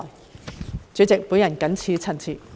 代理主席，我謹此陳辭。